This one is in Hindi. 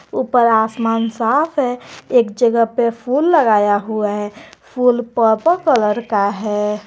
ऊपर आसमान साफ है एक जगह पे फूल लगाया हुआ है फुल पर्पल कलर का है।